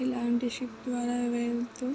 ఇలాంటి షిప్ ద్వారా వెళుతూ--